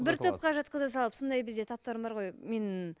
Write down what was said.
бір топқа жатқыза салып сондай бізде таптаурын бар ғой мен